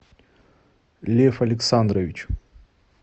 лев александрович